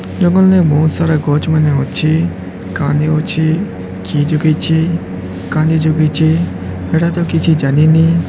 ଜଙ୍ଗଲ୍ ରେ ବୋହୁତ୍ ସାରା ଗଛ୍ ମାନେ ଅଛି କାହାନି ଅଛି ଚି ଚୁକେଇ ଛି କାନି ଜଗେଇଚେ ଏଟା ତ କିଛି ଯାନିନି।